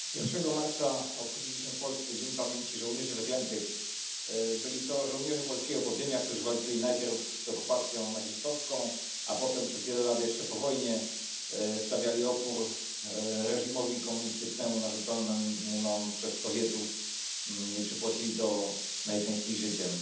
Panie Przewodniczący! Pierwszego marca obchodziliśmy w Polsce Dzień Pamięci Żołnierzy Wyklętych. Byli to żołnierze polskiego podziemia, którzy walczyli najpierw z okupacją nazistowską, a potem przez wiele lat jeszcze po wojnie stawiali opór reżimowi komunistycznemu narzuconemu nam przez Sowietów, i przypłacili to najczęściej życiem.